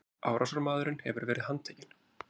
Árásarmaðurinn hafi verið handtekinn